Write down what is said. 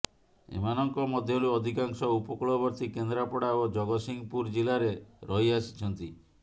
ଏମାନଙ୍କ ମଧ୍ୟରୁ ଅଧିକାଂଶ ଉପକୂଳବର୍ତ୍ତି କେନ୍ଦ୍ରାପଡ଼ା ଓ ଜଗତସିଂହପୁର ଜିଲ୍ଲାରେ ରହିଆସିଛନ୍ତି